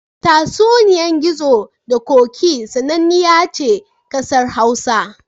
Tatsuniyar Gizo da Ƙoƙi sananniya ce ƙasar Hausa.